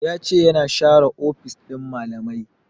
Ya ce ya na share ofis ɗin malamai